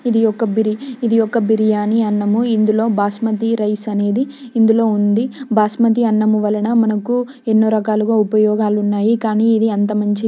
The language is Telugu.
ఇది ఒక బిరి-- ఇది ఒక బిరియాని అన్నము. ఇందులో బాస్మతి రైస్ అనేది ఇందులో ఉన్నది బాస్మతి అన్నము వలన మనకు ఉపయోగాలు ఉన్నాయి కానీ ఇది అంత మంచిది.